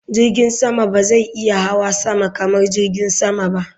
Jirgin sama ba zai iya hawa sama kamar jirgin sama ba.